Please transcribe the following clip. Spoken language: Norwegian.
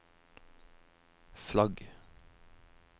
flagg